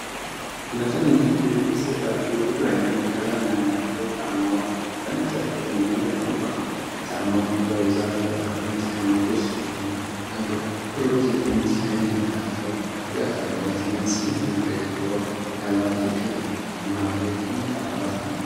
ለትንንሽ ልጆች የተዘጋጁ ብዙ ዓይነት ቀለም ያላቸው ጫማዎች በእንጨት ወለል ላይ ተቀምጠዋል። ጫማዎቹ በብዛት ተበታትነው የተቀመጡ ሲሆን፤ ሮዝ የሆኑት ሻይን ያላቸው፣ ቢጫ ካንቫስ እና ሰማያዊ ቬልክሮ ያላቸው ይገኙበታል። መሃል ላይ ቀይ ካንቫስ ጫማዎች አሉ።